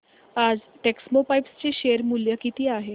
आज टेक्स्मोपाइप्स चे शेअर मूल्य किती आहे